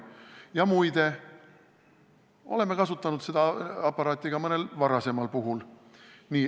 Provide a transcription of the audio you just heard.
Ja muide, me oleme kasutanud seda aparaati ka mõnel teisel juhul.